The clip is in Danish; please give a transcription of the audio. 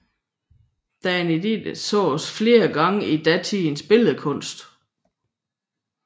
Danaiden ses flere gange i datidens billedkunst